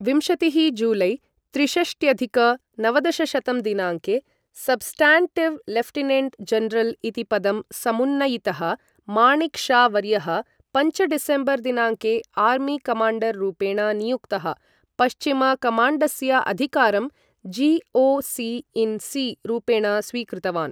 विंशतिः जुलै त्रिषष्ट्यधिक नवदशशतं दिनाङ्के सब्स्टाण्टीव् लेफ्टिनेण्ट् जनरल् इति पदं समुन्नयितः, माणिक् शा वर्यः पञ्च डिसम्बर् दिनाङ्के आर्मी कमाण्डर् रूपेण नियुक्तः, पश्चिम कमाण्डस्य अधिकारं जि.ओ.सि इन् सि रूपेण स्वीकृतवान्।